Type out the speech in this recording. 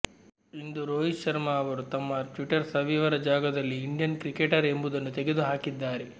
ಇಂದು ರೋಹಿತ್ ಶರ್ಮ ಅವರು ತಮ್ಮ ಟ್ವಿಟ್ಟರ್ ಸ್ವವಿವರ ಜಾಗದಲ್ಲಿ ಇಂಡಿಯನ್ ಕ್ರಿಕೆಟರ್ ಎಂಬುದನ್ನು ತೆಗೆದು ಹಾಕಿದ್ದಾರೆ